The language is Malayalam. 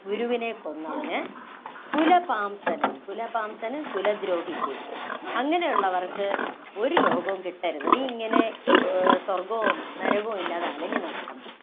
ഗുരുവിനെ കൊന്നവന്, കുലപാംസനന്‍, കുലപാംസനന്‍ - കുലദ്രോഹിക്ക് അങ്ങിനെയുള്ളവര്‍ക്ക് ഒരു ലോകവും കിട്ടരുത്. നീ ഇങ്ങനെ ആ സ്വര്‍ഗ്ഗവും നരകവും ഇല്ലാതെ അലഞ്ഞു നടക്കണം.